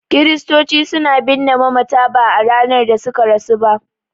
Kiristoci suna binne mamata ba a ranar da suka rasu ba.